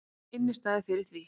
Innistæðu fyrir því!